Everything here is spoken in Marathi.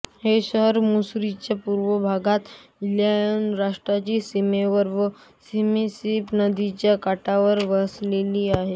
हे शहर मिसूरीच्या पूर्व भागात इलिनॉय राज्याच्या सीमेवर व मिसिसिपी नदीच्या काठावर वसले आहे